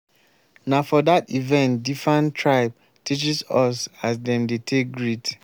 na for dat event differn tribe teaches us as dem dey take greet.